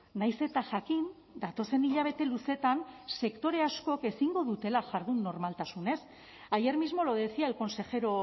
nahiz eta jakin datozen hilabete luzeetan sektore askok ezingo dutela jardun normaltasunez ayer mismo lo decía el consejero